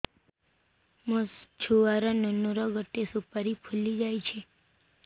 ମୋ ଛୁଆ ନୁନୁ ର ଗଟେ ସୁପାରୀ ଫୁଲି ଯାଇଛି